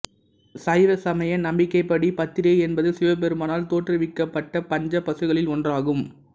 சைவ சமய நம்பிக்கைப்படி பத்திரை என்பது சிவபெருமானால் தோற்றுவிக்கப்பட்ட பஞ்ச பசுக்களில் ஒன்றாகும்